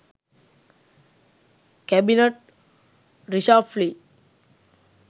cabinet reshuffle